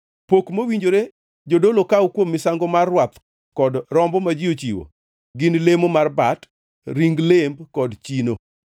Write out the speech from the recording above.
Pok mowinjore jodolo kaw kuom misango mar rwath kod rombo ma ji ochiwo gin lemo mar bat, ring lemb kod chino.